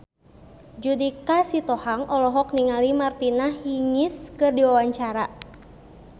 Judika Sitohang olohok ningali Martina Hingis keur diwawancara